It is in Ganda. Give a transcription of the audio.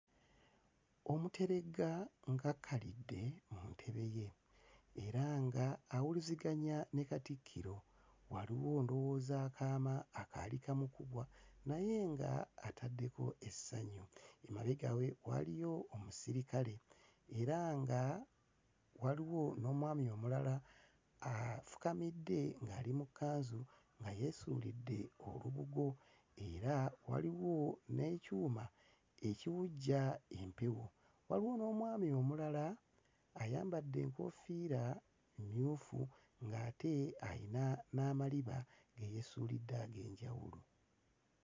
Omuteregga ng'akkalidde mu ntebe ye era nga awuliziganya ne Katikkiro, waliwo ndowooza akaama akaali kamukubwa naye nga ataddeko essanyu, emabega we waliyo omusirikale era nga waliwo n'omwami omulala afukamidde ngali mu kkanzu nga yeesuulidde olubugo era waliwo n'ekyuma ekiwujja empewo. Waliwo n'omwami omulala ayambadde enkofiira emmyufu ng'ate alina n'amaliba ge yeesuulidde ag'enjawulo.